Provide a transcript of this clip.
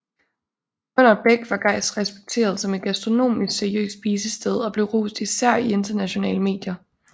Under Bech var Geist respekteret som et gastronomisk seriøst spisested og blev rost især i internationale medier